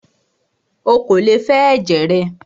Ó kò lè fẹ ẹ̀jẹ̀ rẹ!